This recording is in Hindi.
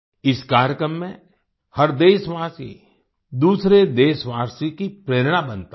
इस कार्यक्रम में हर देशवासी दूसरे देशवासी की प्रेरणा बनता है